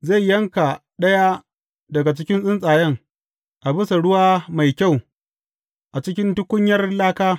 Zai yanka ɗaya daga cikin tsuntsayen a bisa ruwa mai kyau a cikin tukunyar laka.